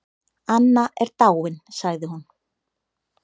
Anna er dáin sagði hún.